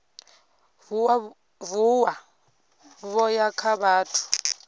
vuwa vho ya kha vhathu